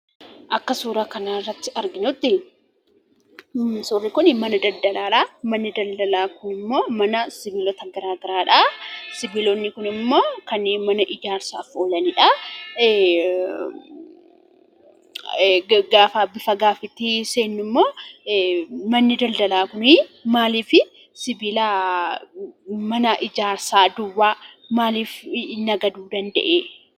Akka suuraa kanarratti arginutti suurri kun mana daldalaadha. Manni daldalaa kunimmoo mana sibiilota garaagaraadha. Sibiilonni kunimoo kanneen mana ijaarsaaf oolaniidha. Manni daldalaa kun maaliif sibiilota ijaarsaa qofaa maaliif daldaluu danda'ee?